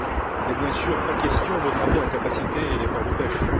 Il n'est bien sûr pas question d'augmenter la capacité et l'effort de pêche.